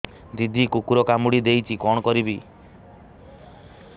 ଦିଦି କୁକୁର କାମୁଡି ଦେଇଛି କଣ କରିବି